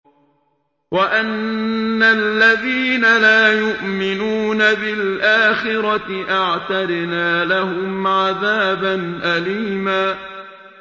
وَأَنَّ الَّذِينَ لَا يُؤْمِنُونَ بِالْآخِرَةِ أَعْتَدْنَا لَهُمْ عَذَابًا أَلِيمًا